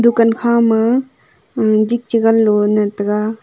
dukan kha mo jik chi gan low e tega.